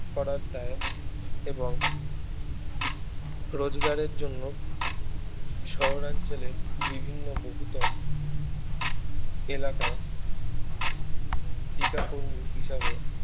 করার দায় এবং রোজগারের জন্য শহরাঞ্চলের বিভিন্ন বহুতল এলাকায় টিকাকর্মী হিসাবে